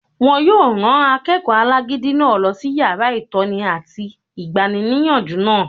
Wọ́n yóò rán akẹ́kọ̀ọ́ alágídí náà lọ sí yàrá ìtọ́ni àti igbaníniyànjú náà